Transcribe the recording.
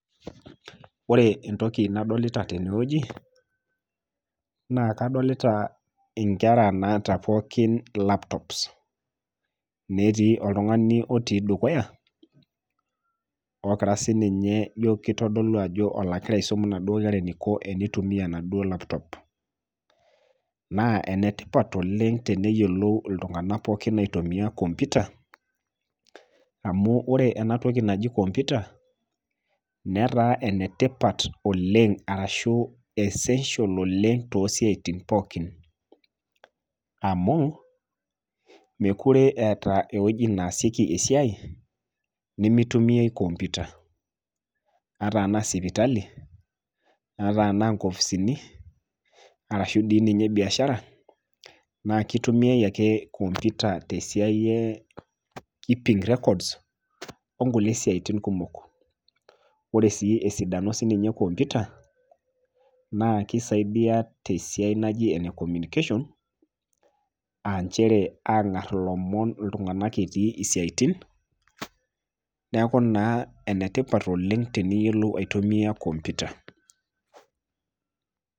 Ore entoki nadolita tenewueji naa kadolita inkera naata pookin laptops. Netii oltung'ani otii dukuya, ogira sininye ijo keitodolu ajo ologira aisom naduo kera eneiko eneitumia enaduo laptop. Naa enetipat oleng' teneyiolou iltung'ana pookin aitumia  kompita amu ore enatoki naji kompita netaa enetipat oleng' arashuu  essential oleng' toosiaitin pookin amuu mekure eeta ewueji neasieki esiai nemeitumiai  kompita. Ata anaa sipitali ata anaa nkofisini arashu dii ninye biashara naakeitumiai ake kompita tesiai e keeping records onkulie siaitin kumok. Ore sii esidano sininye ekompita naakeisaidia tesiai naji ene communication[c s] aanchere aang'arr ilomon iltung'ana etii siaitin neaku naa enetipat oleng' teneyiolou aitumia kompita.